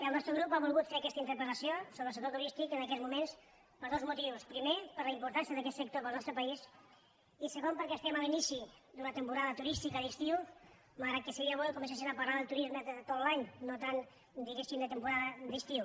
el nostre grup ha volgut fer aquesta interpel·lació sobre el sector turístic en aquests moments per dos motius primer per la importància d’aquest sector per al nostre país i segon perquè es·tem a l’inici d’una temporada turística d’estiu malgrat que seria bo que comencessin a parlar del turisme de tot l’any no tant diguéssim de temporada d’estiu